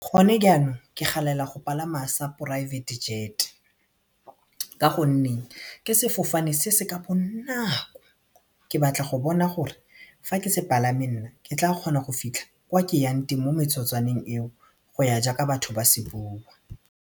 Gone jaanong ke galela go palama sa private jet ka gonne ke sefofane se se ka bonako ke batla go bona gore fa ke se palame nna ke tla kgona go fitlha kwa ke yang teng mo metsotswaneng eo go ya jaaka batho ba se bua.